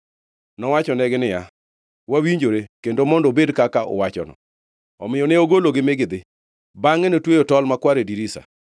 Nowachonegi niya, “Wawinjore! Kendo mondo obed kaka uwachono.” Omiyo ne ogologi mi gidhi. Bangʼe notweyo tol makwar e dirisa.